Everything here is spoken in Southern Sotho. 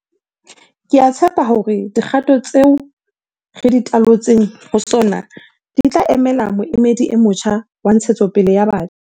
Ke a tshepa hore dikgato tseo re di talotseng ho SoNA di tla emela moedi o motjha wa ntshetsopele ya batjha.